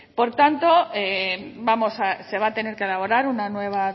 por tanto se va a tener que elaborar una nueva